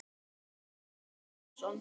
Böðvar Bragi Pálsson